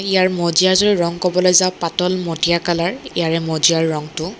ইয়াৰে মজিয়া যোৰ ৰং কবলৈ যা পাতল মটীয়া কালাৰ ইয়াৰে মজিয়াৰ ৰংটো।